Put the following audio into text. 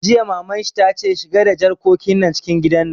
Jiya Maman shi ta ce 'Shiga da jarkokin nan cikin gida'!